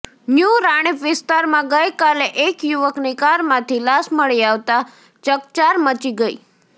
new Ranip વિસ્તારમાં ગઇ કાલે એક યુવકની કારમાંથી લાશ મળી આવતાં ચકચાર મચી ગઇ